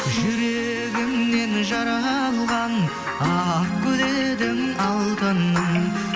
жүрегімнен жаралған ақ гүл едің алтыным